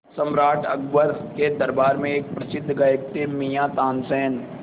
सम्राट अकबर के दरबार में एक प्रसिद्ध गायक थे मियाँ तानसेन